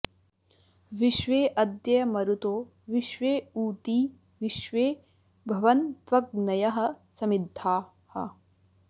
विश्वे॑ अ॒द्य म॒रुतो॒ विश्व॑ ऊ॒ती विश्वे॑ भवन्त्व॒ग्नयः॒ समि॑द्धाः